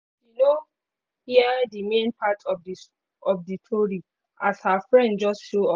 she no hear the main part of the tori as her friend just show up